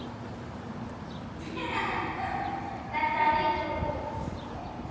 Þetta rýkur út.